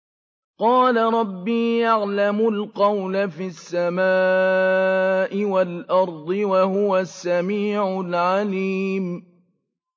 قَالَ رَبِّي يَعْلَمُ الْقَوْلَ فِي السَّمَاءِ وَالْأَرْضِ ۖ وَهُوَ السَّمِيعُ الْعَلِيمُ